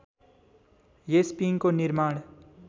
यस पिङको निर्माण